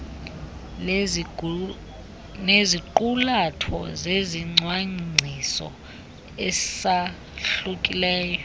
neziqulatho zezicwangciso esahlukileyo